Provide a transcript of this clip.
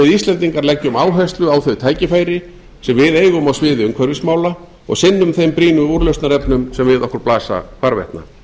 íslendingar leggjum áherslu á þau tækifæri sem við eigum á sviði umhverfismála og sinnum þeim brýnu úrlausnarefnum sem að okkur blasa hvarvetna